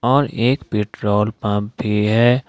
और एक petrol pump भी है।